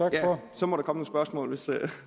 så må der komme nogle spørgsmål hvis